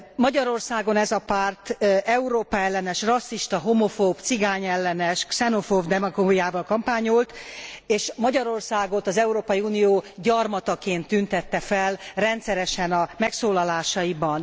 Magyarországon ez a párt Európa ellenes, rasszista, homofób, cigányellenes, xenofób demagógiával kampányolt és Magyarországot az Európai Unió gyarmataként tüntette fel rendszeresen a megszólalásaiban.